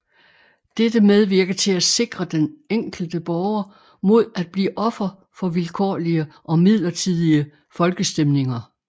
Dette medvirker til at sikre den enkelte borger mod at blive offer for vilkårlige og midlertidige folkestemninger